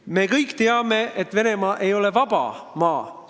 Me kõik teame, et Venemaa ei ole vaba maa.